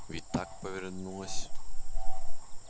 ведь так повернулась